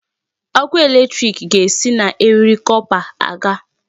Ọkụ electric ga-esi na eriri copper aga.